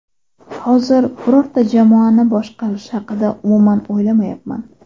Hozir birorta jamoani boshqarish haqida umuman o‘ylamayapman.